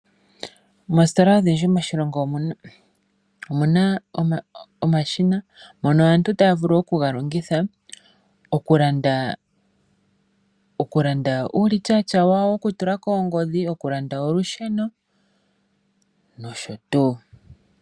Moositola odhindji moshilongo omuna omashina ngono aantu taya vulu oku ga longitha oku kanda uulichaacha wawo woku tula koongodhi, oku landa olusheno nosho tuu.